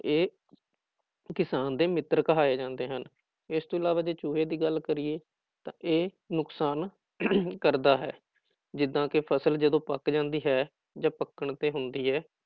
ਇਹ ਕਿਸਾਨ ਦੇ ਮਿੱਤਰ ਕਹਾਏ ਜਾਂਦੇ ਹਨ, ਇਸ ਤੋਂ ਇਲਾਵਾ ਜੇ ਚੂਹੇ ਦੀ ਗੱਲ ਕਰੀਏ ਤਾਂ ਇਹ ਨੁਕਸਾਨ ਕਰਦਾ ਹੈ, ਜਿੱਦਾਂ ਕਿ ਫ਼ਸਲ ਜਦੋਂ ਪੱਕ ਜਾਂਦੀ ਹੈ ਜਾਂ ਪੱਕਣ ਤੇ ਹੁੰਦੀ ਹੈ